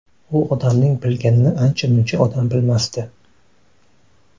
U odamning bilganini ancha-muncha odam bilmasdi.